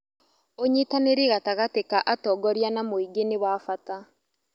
Ũnyitanĩri gatagatĩ ka atongoria na mũingĩ nĩ wa bata.